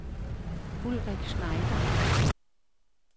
Ulrik Schneider